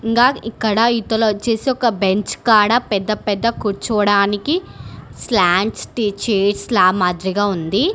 ఇంకా ఇక్కడ ఇవ్వుతాల వచ్చేసి ఒక బెంచ్ కాదా పెద్ద పెద్ద కూర్చోవడానికి మాదిరిగా ఉంది.